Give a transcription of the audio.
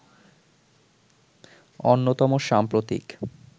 অন্যতম সাম্প্রতিক